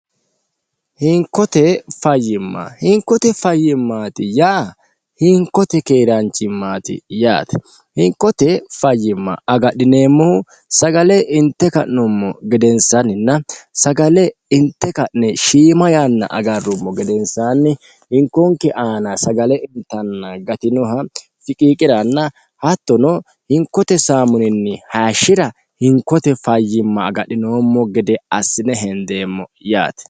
hinkote fayyimma hinkote fayyimmaati yaa hinkote keeraanchimmaati yaate hinkote fayyimma agadhineemmohu sagale inte ka'nommo gedensaanninna sagale inte ka'ne shiima yanna agarrummo gedensaanni hinkonke aana sagale intanna gatinoha fiqiiqiranna hattono hinkote saamuninni hayishshira hinkote fayyimma agadhinoommo gede assine hendeemmo yaate